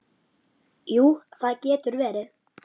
Jú, það getur verið.